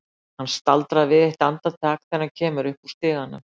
Hann staldrar við eitt andartak þegar hann kemur upp úr stiganum.